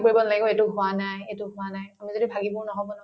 পৰিব নালাগিব এইটো হোৱা নাই এইটো হোৱা নাই আমি যদি ভাগি পৰো নহব ন